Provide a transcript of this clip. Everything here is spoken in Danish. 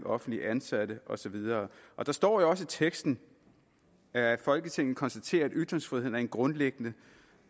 offentligt ansatte og så videre der står jo også i teksten at folketinget konstaterer at ytringsfriheden er en grundlæggende